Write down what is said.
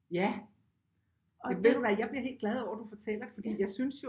Ja ved du hvad jeg bliver helt glad over at du fortæller fordi jeg synes jo